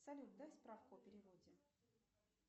салют дай справку о переводе